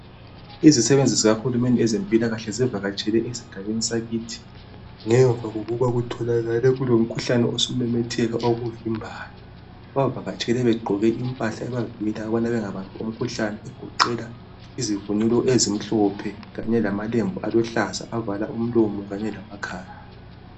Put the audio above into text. Izisebenzi zikahulumende zivakatshele esigabeni sakithi ziyelapha mayelana ngomkhuhlane osumemetheka, bavakatshe begqoke impahla ezivikela umkhuhlane izivunulo ezimhlophe ,kanye lamalembu aluhlaza avala umlomo lamakhala.